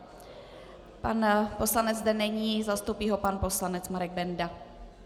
Pan poslanec zde není, zastoupí ho pan poslanec Marek Benda.